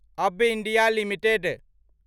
अब्ब India limited